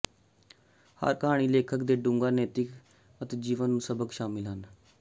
ਹਰ ਕਹਾਣੀ ਲੇਖਕ ਦੇ ਡੂੰਘਾ ਨੈਤਿਕ ਅਤੇ ਜੀਵਨ ਨੂੰ ਸਬਕ ਸ਼ਾਮਿਲ ਹਨ